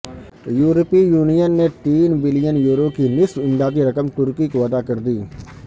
یورپی یونین نے تین بلین یورو کی نصف امدادی رقم ترکی کو ادا کر دی